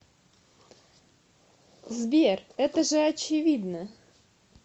сбер это же очевидно